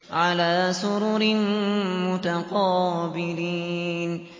عَلَىٰ سُرُرٍ مُّتَقَابِلِينَ